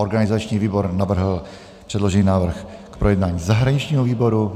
Organizační výbor navrhl předložený návrh k projednání zahraničnímu výboru.